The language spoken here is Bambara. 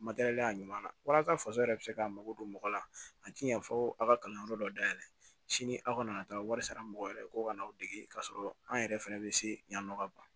Matɛrɛli a ɲuman na walasa faso yɛrɛ bɛ se k'a mago don mɔgɔ la a tɛ yan fɔ aw ka kalanyɔrɔ dɔ dayɛlɛ sini aw kana taa wari sara mɔgɔ wɛrɛ ko ka n'aw dege k'a sɔrɔ an yɛrɛ fana bɛ se yan nɔ ka ban